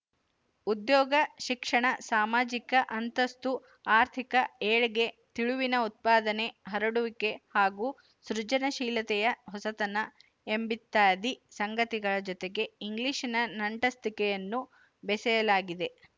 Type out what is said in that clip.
ಉದ್ಯೋಗ ಶಿಕ್ಷಣ ಸಾಮಾಜಿಕ ಅಂತಸ್ತು ಆರ್ಥಿಕ ಏಳ್ಗೆ ತಿಳಿವಿನ ಉತ್ಪಾದನೆ ಹರಡುವಿಕೆ ಹಾಗೂ ಸೃಜನಶೀಲತೆಯ ಹೊಸತನ ಎಂಬಿತ್ಯಾದಿ ಸಂಗತಿಗಳ ಜೊತೆಗೆ ಇಂಗ್ಲಿಶಿನ ನಂಟಸ್ತಿಕೆಯನ್ನು ಬೆಸೆಯಲಾಗಿದೆ